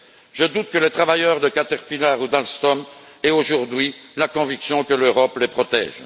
Je doute que les travailleurs de Caterpillar ou d'Alstom aient aujourd'hui la conviction que l'Europe les protège.